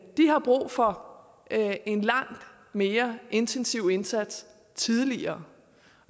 har brug for en langt mere intensiv indsats tidligere